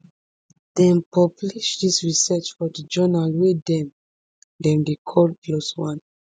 dem publish dis research for di journal wey dem dem dey call plos one